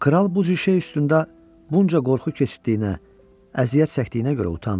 Kral bu cür şey üstündə bunca qorxu keçirtdiyinə, əziyyət çəkdiyinə görə utandı.